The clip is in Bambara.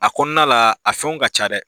A kɔnɔna la a fɛnw ka ca dɛ.